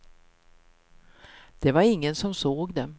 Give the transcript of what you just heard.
Det var ingen som såg dem.